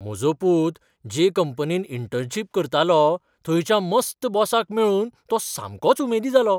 म्हजो पूत जे कंपनींत इंटर्नशीप करतालो थंयच्या मस्त बॉसाक मेळून तो सामकोच उमेदी जालो.